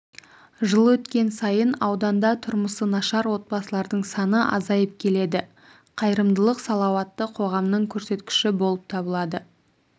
жыл өткен сайын ауданда тұрмысы нашар отбасылардың саны азайып келеді қайырымдылық салауатты қоғамның көрсеткіші болып табылады